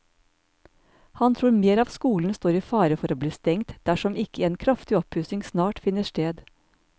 Han tror mer av skolen står i fare for å bli stengt dersom ikke en kraftig oppussing snart finner sted.